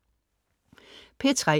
P3: